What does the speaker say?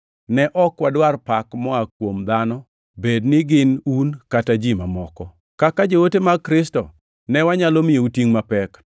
Ne ok wadwar pak moa kuom dhano, bed ni gin un kata ji mamoko. Kaka joote mag Kristo, ne wanyalo miyou tingʼ mapek,